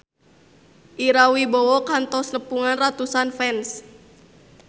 Ira Wibowo kantos nepungan ratusan fans